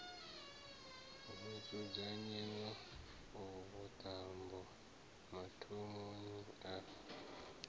ho dzudzanyiwa vhuṱambo mathomoni a